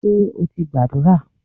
Ṣé o ti gbàdúrà?